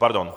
Pardon.